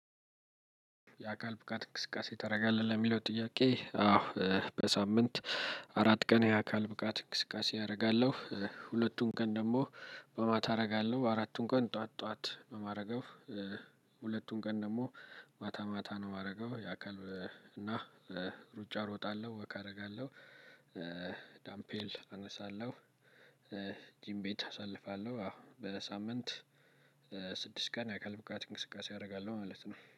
የአካል ብቃት እንቅስቃሴ ታደርጋለህ ለሚለው ጥያቄ? አዎ በሳምንት አራት ቀን የአካል ብቃት እንቅስቃሴ አረጋለሁ። ሁለቱን ቀን ደግሞ በማታ አረጋለሁ አራቱን ቀን ጥዋት ጥዋት እማረገው። ሁለቱን ቀን ደሞ ማታ ማታ ነው እማረገው። የአካል እና ሩጫ ሮጣለሁ ወክ አረጋለሁ። ዳምፔል አነሳለሁ። ጂም ቤት አሳልፋለሁ። አዎ በሳምንት ስድስት ቀን የአካል ብቃት እንቅስቃሴ አደርጋለሁ ማለት ነው